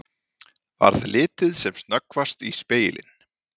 Varð litið sem snöggvast í spegilinn.